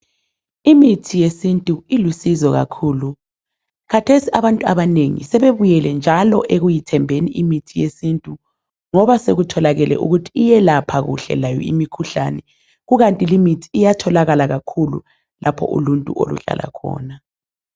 Imithi yesintu ilusizo kakhulu .Khathesi abantu abanengi sebebuyele njalo ekuyithembeni imithi yesintu. Ngoba sekutholakele ukuthi iyelapha kuhle layo imikhuhlane. Kukanti iyatholakala lapho uluntu oluhlala khona.